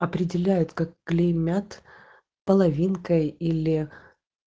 определяет как клеймят половинка или